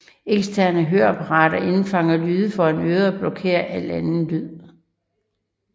Eksterne høreapparater indfangede lyde foran øret og blokerede al anden lyd